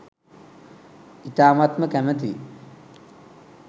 ඉතාමත්ම කැමතියි